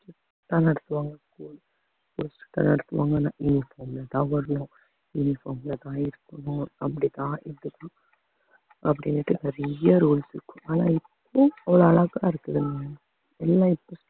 நடத்துவாங்க நடத்துவாங்கன்னு சாப்பாடுலாம் அப்படித்தான் இப்படிதான் அப்படியே நிறைய rules இருக்கு ஆனா இப்போ ஒரு அழகா இருக்குதுங்க எல்லாம் இப்போ